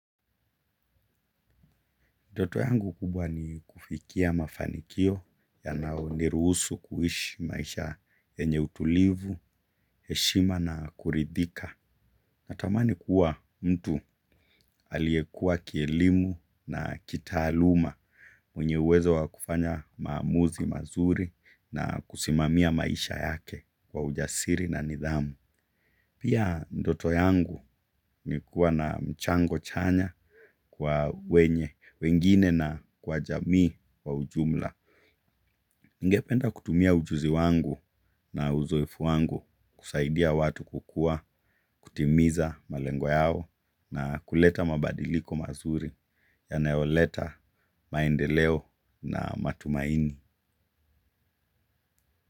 Ndoto yangu kubwa ni kufikia mafanikio ya nayo nirusu kuhishi maisha yenye utulivu, heshima na kuridhika. Natamani kuwa mtu aliyekuwa kielimu na kitaaluma mwenye uwezo wa kufanya maamuzi mazuri na kusimamia maisha yake kwa ujasiri na nidhamu. Pia ndoto yangu ni kuwa na mchango chanya kwa wenye, wengine na kwa jamii kwa ujumla. Ngependa kutumia ujuzi wangu na uzoefu wangu kusaidia watu kukua, kutimiza malengo yao na kuleta mabadiliko mazuri yanayoleta maendeleo na matumaini.